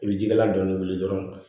I bɛ jikalan dɔɔni wuli dɔrɔn